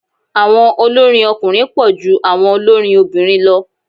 Àwọn olórin ọkùnrin pọ̀ ju àwọn olórin obìnrin lọ.